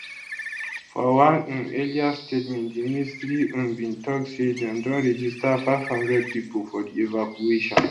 for one um earlier statement di ministry um bin tok say dem don register 500 pipo for di evacuation